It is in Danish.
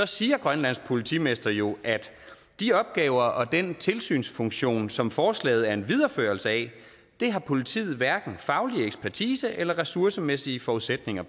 siger grønlands politimester jo at de opgaver og den tilsynsfunktion som forslaget er en videreførelse af har politiet hverken faglig ekspertise til eller ressourcemæssige forudsætninger